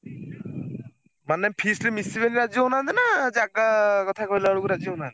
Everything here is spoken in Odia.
ମାନେ feast ରେ ମିଶିବେନି ରାଜି ହଉନାହାନ୍ତି ନା ଜାଗା କଥା କହିଲାବେଳକୁ ରାଜି ହଉନାହାନ୍ତି?